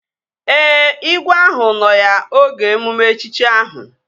Ee, igwe ahụ nọ ya oge emume echichi ahụ